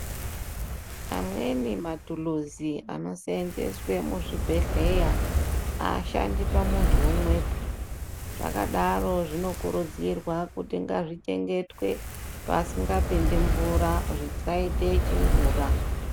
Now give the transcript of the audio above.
Amweni matuluzi anosenzeswe muzvibhedhleya hashandi pamuntu umwepi. Zvakadaro zvinokurudzirwa kuti zvichengetwe pasingapinde mvura zvichaite chingura.